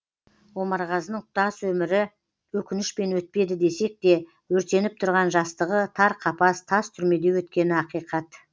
омарғазының тұтас өмірі өкінішпен өтпеді десек те өртеніп тұрған жастығы тар қапас тас түрмеде өткені ақиқат